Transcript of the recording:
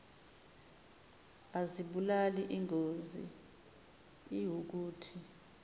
azibulali ingozi iwukuthi